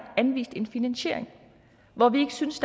anvist en finansiering hvor vi ikke synes